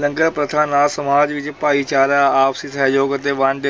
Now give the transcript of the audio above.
ਲੰਗਰ ਪ੍ਰਥਾ ਨਾਲ ਸਮਾਜ ਵਿੱਚ ਭਾਈਚਾਰਾ, ਆਪਸੀ ਸਹਿਯੋਗ ਅਤੇ ਵੰਡ